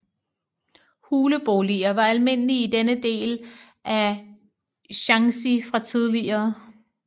Huleboliger var almindelige i denne del af Shaanxi fra tidligere